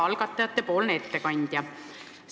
Hea algatajate ettekandja!